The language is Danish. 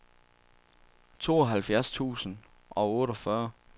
tooghalvfjerds tusind og otteogfyrre